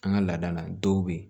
An ka laadala dɔw be yen